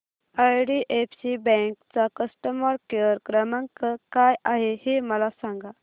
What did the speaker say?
IDFC bank चा customer care क्रमांक काय आहे हे मला सांगा